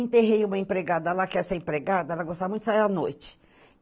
Enterrei uma empregada lá, que essa empregada, ela gostava muito de sair à noite.